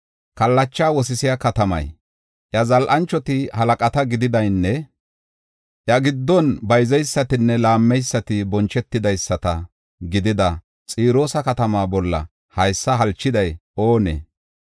Kallacha wosisiya katamaa, iya zal7anchoti halaqata gididanne iya giddon bayzeysatinne laammeysati bonchetidaysata gidida Xiroosa katamaa bolla haysa halchiday oonee?